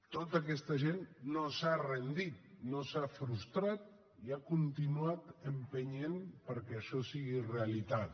tota aquesta gent no s’ha rendit no s’ha frustrat i ha continuat empenyent perquè això fos realitat